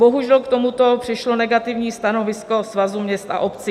Bohužel, k tomuto přišlo negativní stanovisko Svazu měst a obcí.